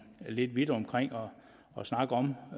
lidt vidt omkring og snakke om